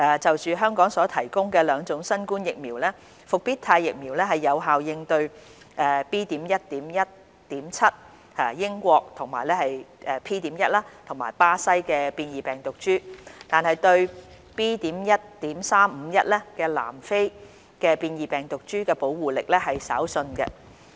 就香港所提供的兩種新冠疫苗，復必泰疫苗能有效應對 "B.1.1.7" 英國及 "P.1" 巴西變異病毒株，但對 "B.1.351" 南非變異病毒株的保護力則稍遜。